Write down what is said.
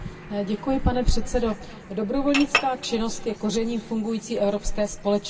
Pane předsedající, dobrovolnická činnost je kořením fungující evropské společnosti.